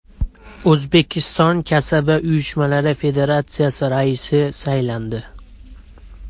O‘zbekiston Kasaba uyushmalari federatsiyasi raisi saylandi.